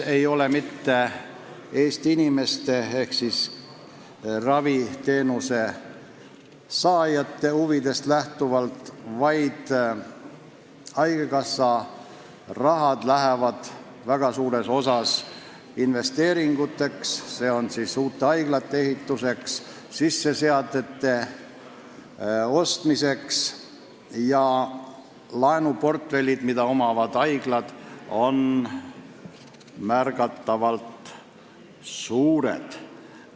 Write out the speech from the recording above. Ei ole lähtutud Eesti inimeste ehk raviteenuse saajate huvidest, haigekassa raha läheb väga suures osas investeeringuteks – uute haiglate ehituseks, sisseseade ostmiseks – ja haiglate laenuportfellid on märkimisväärselt suured.